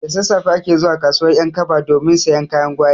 Da sassafe ake zuwa kasuwar ƴankaba domin siyan kayan gwari